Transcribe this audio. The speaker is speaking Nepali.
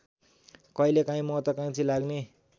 कहिलेकाहीँ महत्त्वकाङ्क्षी लाग्ने